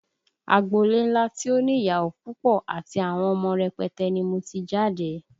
Agbolé ńlá tí ó ní ìyàwó púpọ̀ àti àwọn ọmọ rẹpẹtẹ ni mo ti jáde